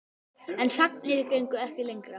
En sagnir gengu ekki lengra.